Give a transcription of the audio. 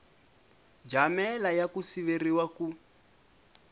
jamela ya ku siveriwa ku